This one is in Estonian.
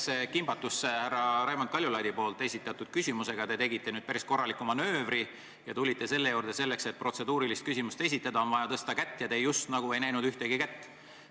Jäädes kimbatusse härra Raimond Kaljulaidi esitatud küsimusele vastamisega, tegite te nüüd päris korraliku manöövri ja tulite selle juurde, et protseduurilise küsimuse esitamiseks on vaja tõsta kätt ja teie just nagu ei näinud ühtegi kätt.